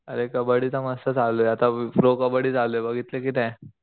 अरे कबड्डी तर मस्त चालूये आता प्रो कबड्डी चालूये बघितली कि नाही.